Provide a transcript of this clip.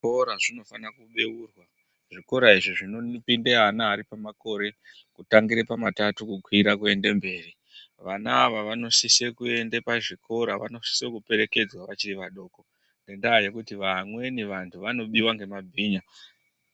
Zvikora zvinofana kubeurwa. Zvikora izvi zvinopinde ana ari pamakore, kutangire pamatatu kukwira kuende mberi. Vana ava vanosise kuende pazvikora, vanosise kuperekedzwa vachiri vadoko, ngendaa yekuti vamweni vantu vanobiwa ngemabhinya.